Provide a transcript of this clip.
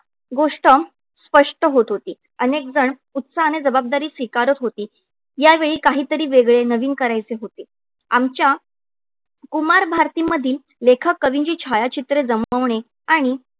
गोष्ट स्पष्ट होत होती. अनेकजण उत्साहाने जबाबदारी स्वीकारत होती. यावेळी काहीतरी वेगळे नवीन करायचे होते. आमच्या कुमारभारती मधील लेखक-कवींची छायाचित्रे जमवणे आणि